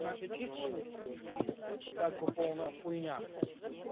с нашей численностью это как бы полная хуйня